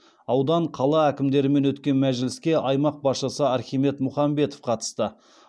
аудан қала әкімдерімен өткен мәжіліске аймақ басшысы архимед мұхамбетов қатысты